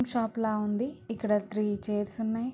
cutting shop ల ఉంది ఇక్కడ త్రీ చైర్స్ ఉన్నాయి